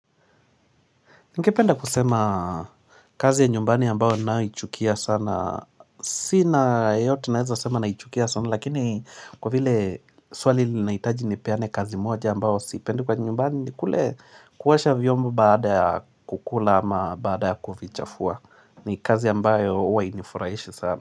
Ningependa kusema kazi ya nyumbani ambao naichukia sana. Sina yote naeza sema naichukia sana. Lakini kwa vile swali linahitaji nipeane kazi moja ambao sipendi kwa nyumbani. Kule kuosha vyombo baada ya kukula ama baada ya kuvichafua. Ni kazi ambayo huwa hainifurahishi sana.